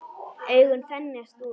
Augun þenjast út.